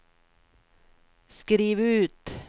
skriv ut